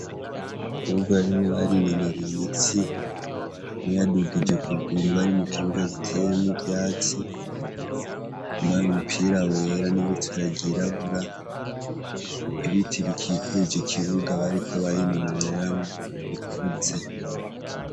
Abakobwa barimwo barinonora imitsi nawe yadugije ukuguru bari mu kibuga giteyemwo ivyatsi, yambaye umupira wera n'ibutura ryirabura, ibiti bikikuje ikibuga bariko barinonoreramwo bikuze.